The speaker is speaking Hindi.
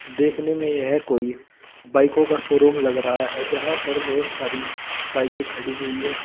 देखने में यह कोई बाइको का शोरूम लग रहा है जहां पर बहोत सारी बाइके खड़ी हुई है।